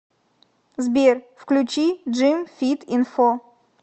сбер включи джим фит инфо